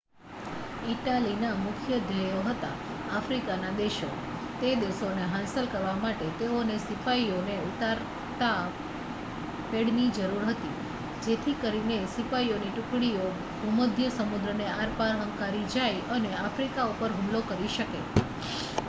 ઇટાલીના મુખ્ય ધ્યેયો હતા આફ્રિકાના દેશો તે દેશોને હાંસલ કરવા માટે તેઓને સિપાઈઓને ઉતારતા પેડની જરૂર હતી જેથી કરીને સિપાઈઓની ટુકડીઓ ભૂમધ્ય સમુદ્રને આરપાર હંકારી જાય અને આફ્રિકા ઉપર હુમલો કરી શકે